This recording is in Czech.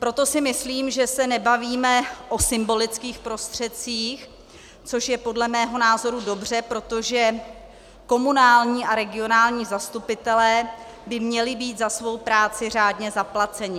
Proto si myslím, že se nebavíme o symbolických prostředcích, což je podle mého názoru dobře, protože komunální a regionální zastupitelé by měli být za svou práci řádně zaplaceni.